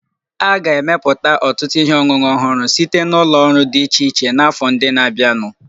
A ga-emepụta ọtụtụ ihe ọṅụṅụ ọhụrụ site na ụlọ ọrụ dị iche iche n'afọ ndị na-abịanụ